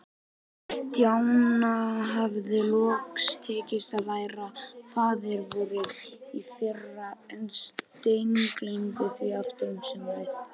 Stjána hafði loks tekist að læra Faðir-vorið í fyrra, en steingleymt því aftur um sumarið.